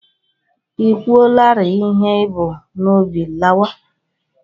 I kwuolarịị ihe i bu n'obi, lawa!